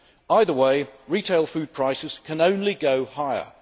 Either way, retail food prices can only go higher.